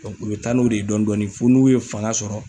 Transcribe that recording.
Dɔkun u be taa n'o de ye dɔndɔnin f'u n'u ye fanga sɔrɔ